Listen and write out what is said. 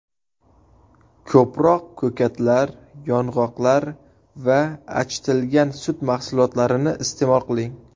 Ko‘proq ko‘katlar, yong‘oqlar va achitilgan sut mahsulotlarini iste’mol qiling.